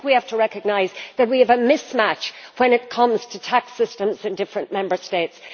I think we have to recognise that we have a mismatch when it comes to tax systems in different Member States.